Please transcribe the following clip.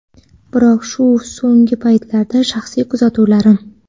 biroq bu so‘nggi paytlardagi shaxsiy kuzatuvlarim.